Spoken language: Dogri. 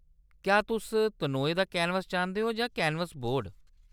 क्या तुस तनोए दा कैनवस चांह्दे ओ जां कैनवस बोर्ड ?